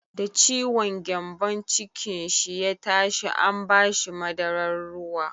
Da ciwon gyambon cikin shi ya tashi an ba shi madarar ruwa.